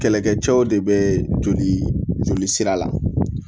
Kɛlɛkɛcɛw de be joli joli sira la